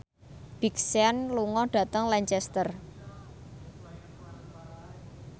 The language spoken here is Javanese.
Big Sean lunga dhateng Lancaster